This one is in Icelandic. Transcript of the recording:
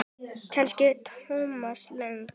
Kannski Thomas Lang?